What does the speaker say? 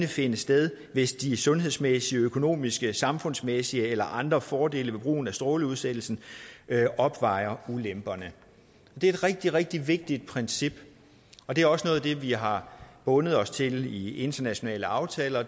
finde sted hvis de sundhedsmæssige økonomiske samfundsmæssige eller andre fordele ved brugen af strålingsudsættelsen opvejer ulemperne det er et rigtig rigtig vigtigt princip og det er også noget af det vi har bundet os til i internationale aftaler og